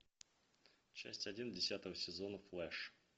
часть один десятого сезона флэш